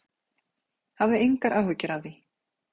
Hafðu engar áhyggjur af því.